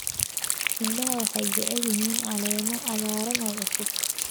Idaha waxay jecel yihiin caleemo cagaaran oo cusub.